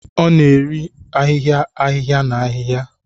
Ọ na-eri ahịhịa ahịhịa na ahịhịa